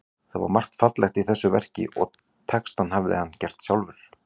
Það var margt fallegt í þessu verki og textann hafði hann gert sjálfur.